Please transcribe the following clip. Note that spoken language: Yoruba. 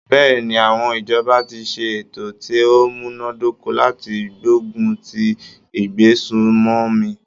Bẹ́ẹ̀ni, àwọn ìjọba ti ṣe ètò ti o múná dóko láti gbógun ti ìgbésùmòmí.